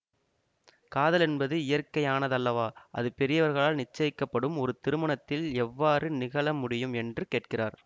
காதல் என்பது இயற்கையானதல்லவா அது பெரியவர்களால் நிச்சயிக்கப்படும் ஒரு திருமணத்தில் எவ்வாறு நிகழ முடியும் என்று கேட்கிறார்